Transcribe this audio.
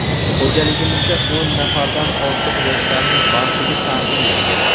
Xo‘jaligimizda o‘n nafardan ortiq yoshlarning bandligi ta’minlangan.